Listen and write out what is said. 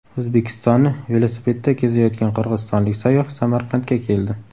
O‘zbekistonni velosipedda kezayotgan qirg‘izistonlik sayyoh Samarqandga keldi.